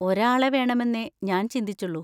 ഒരാളെ വേണമെന്നേ ഞാൻ ചിന്തിച്ചുള്ളൂ.